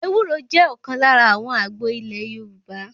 Ewúro jẹ́ ọ̀kan lára àwọn àgbo ilé Yorùbá.